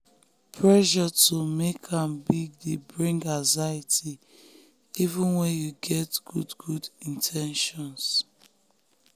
pressure to make am big dey bring anxiety even when yu get good good in ten tions.